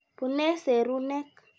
Pune serunek.